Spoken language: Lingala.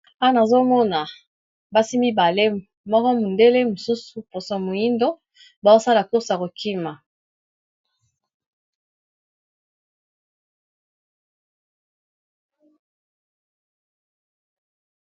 Awa nazomona basi mibale moko mondele mosusu poso moyindo bazosala course ya kokima.